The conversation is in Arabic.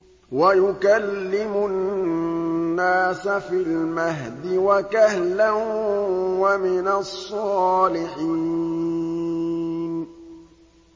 وَيُكَلِّمُ النَّاسَ فِي الْمَهْدِ وَكَهْلًا وَمِنَ الصَّالِحِينَ